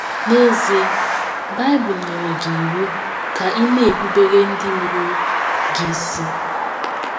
N’ezie, Bible nyere gị iwu ka ị na - erubere ndị mụrụ gị isi.